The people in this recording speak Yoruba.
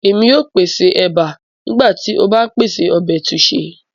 Émi o pese eba nigba ti o ba n pese ọbẹ taushe